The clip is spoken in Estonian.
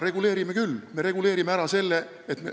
Reguleerime küll.